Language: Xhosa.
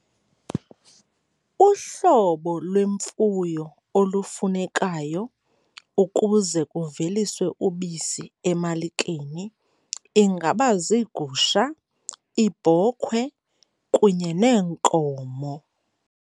Uhlobo lwemfuyo olufunekayo ukuze kuveliswe ubisi emalikeni ingaba ziigusha, iibhokhwe kunye neenkomo.